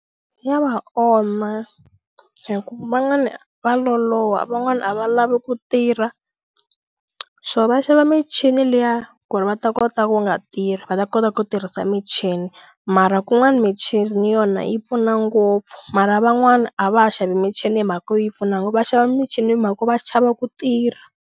Ya va onha hi ku van'wana va loloha van'wana a va lavi ku tirha so va xava michini liya ku ri va ta kota ku nga tirhi va ta kota ku tirhisa michini mara kun'wani michini yona yi pfuna ngopfu mara van'wani a va ha xavi michini hi mhaka yo yi pfuna ngopfu va xava michini hi mhaka ku va chava ku tirha.